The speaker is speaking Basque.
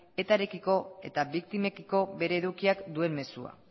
etarekiko eta biktimekiko bere edukiak duen mezua